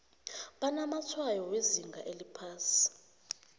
banamatshwayo wezinga eliphasi